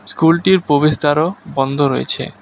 স্কুলটির প্রবেশদ্বারও বন্ধ রয়েছে।